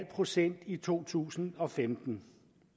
procent i to tusind og femten